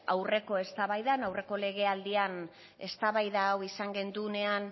aurreko eztabaidan aurreko legealdian eztabaida hau izan genuenean